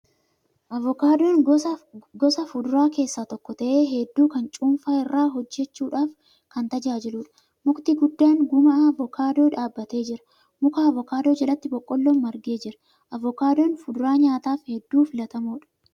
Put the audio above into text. Avookaadoon gosa fuduraa keessa tokko ta'ee hedduu kan cuunfaa irraa hojjachuudhaaaf kan tajaaliluudha. Mukti guddaan gumaa Avookaadoo dhaabbatee jira. Muka Avookaadoo jalatti boqqolloon margee jira. Avookaadoon fuduraa nyaataaf hedduu filatamoodha.